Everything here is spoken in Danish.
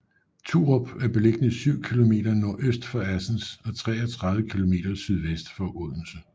Turup er beliggende syv kilometer nordøst for Assens og 33 kilometer sydvest for Odense